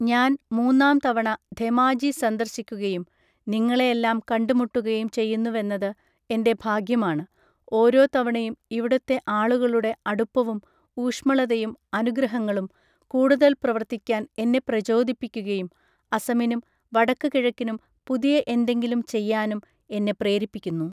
ഞാൻ മൂന്നാം തവണ ധെമാജി സന്ദർശിക്കുകയും നിങ്ങളെയെല്ലാം കണ്ടുമുട്ടുകയും ചെയ്യുന്നുവെന്നത് എന്റെ ഭാഗ്യമാണ്, ഓരോ തവണയും ഇവിടുത്തെ ആളുകളുടെ അടുപ്പവും ഊഷ്മളതയും അനുഗ്രഹങ്ങളും കൂടുതൽ പ്രവർത്തിക്കാൻ എന്നെ പ്രചോദിപ്പിക്കുകയും അസമിനും വടക്ക് കിഴക്കിനും പുതിയ എന്തെങ്കിലും ചെയ്യാനും എന്നെ പ്രേരിപ്പിക്കുന്നു.